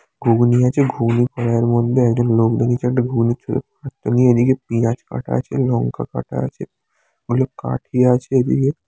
ঘুগনি আছে ঘুগনি কড়াইয়ের মধ্যে একজন লোক দাঁড়িয়ে আছে একদিকে পিয়াজ কাটা আছে লঙ্কা কাটা আছে অনেক আছে এদিকে ।